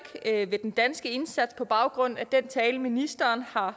ved den danske indsats på baggrund af den tale ministeren